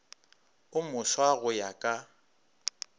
o moswa go ya ka